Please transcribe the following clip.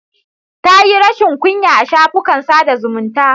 Ta yi rashin kunya a shafukan sada zumunta.